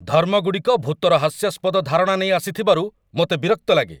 ଧର୍ମଗୁଡ଼ିକ ଭୂତର ହାସ୍ୟାସ୍ପଦ ଧାରଣା ନେଇ ଆସିଥିବାରୁ ମୋତେ ବିରକ୍ତ ଲାଗେ।